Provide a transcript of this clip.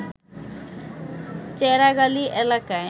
চেরাগআলী এলাকায়